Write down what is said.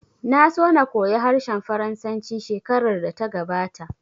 Na so na koya harshen Faransanci shekarar da ta gabata